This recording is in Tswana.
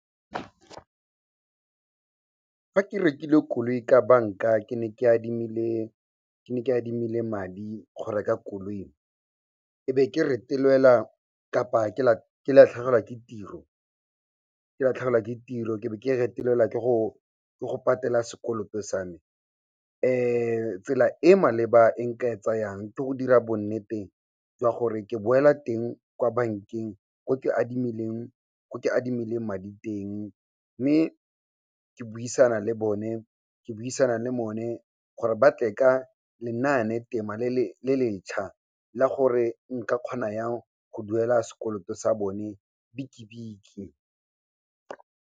Fa ke rekile koloi ka banka, ke ne ke adimile madi go reka koloi, e be ke retelelwa kapa ke latlhegelwa ke tiro, ke be ke retelelwa ke go patela sekoloto sa me, tsela e maleba e nka e tsayang, ke go dira bonnete jwa gore ke boela teng kwa bankeng ko ke adimileng madi teng mme ke buisana le bone gore ba tle ka lenaane-tema le letšha la gore nka kgona jang go duela sekoloto sa bone bietjie bietjie.